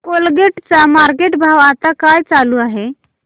Colgate चा market भाव आता काय चालू आहे